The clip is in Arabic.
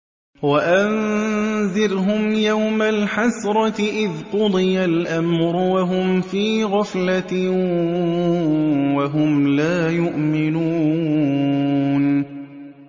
وَأَنذِرْهُمْ يَوْمَ الْحَسْرَةِ إِذْ قُضِيَ الْأَمْرُ وَهُمْ فِي غَفْلَةٍ وَهُمْ لَا يُؤْمِنُونَ